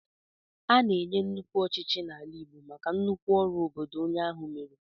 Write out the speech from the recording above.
A na-enye nnukwu echichi n'ala Igbo maka nnukwu ọrụ obodo onye ahụ meere.